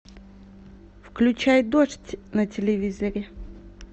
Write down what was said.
включай дождь на телевизоре